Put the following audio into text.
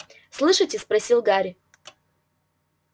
слышите спросил гарри